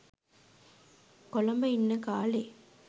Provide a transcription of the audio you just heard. කොළඹ ඉන්න කාලෙ.